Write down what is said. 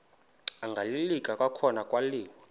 agaleleka kwakhona kwaliwa